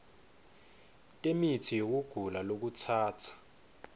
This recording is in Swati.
temitsi yekugula lokutsatsa